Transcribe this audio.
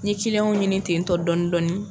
Ni ciliyan ɲini ten tɔ dɔɔnin dɔɔnin